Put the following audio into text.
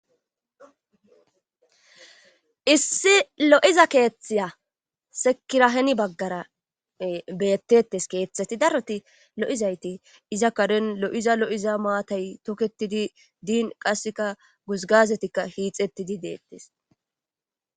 issi lo7iza keeththiya sekiraheni baggara bettettes keeththeti daroti lo7izayti iza kaden lo7iza lo7iza maatay tokketidi diin qasseka guzgazetikka hiixettidi deettes